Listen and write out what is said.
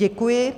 Děkuji.